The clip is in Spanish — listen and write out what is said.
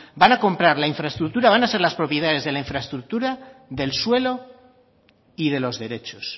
van a comprar la infraestructura van a ser las propietarias de la infraestructura del suelo y de los derechos